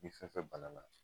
Ni fɛn fɛn bana na